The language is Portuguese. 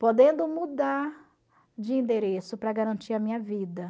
Podendo mudar de endereço para garantir a minha vida.